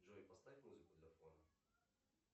джой поставь музыку для фона